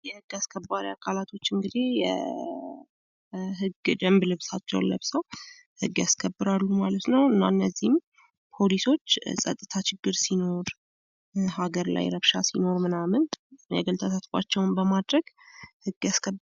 የህግ አስከባሪ አካላቶች እንግዲህ ህግ ደንብ ልብሳቸውን ለብሰው ህግ ያስከብራሉ ማለት ነው እና እነዚህ ፖሊሶች የጸጥታ ችግር ሲኖር ሀገር ላይ ረብሻ ሲኖር ምናምን ተሳትፏቸውን በማድረግ ህግ ያስከብራሉ።